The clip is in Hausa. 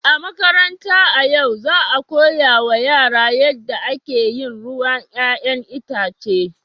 A makaranta a yau, za a koya wa yara yadda ake yin ruwan 'ya'yan itace.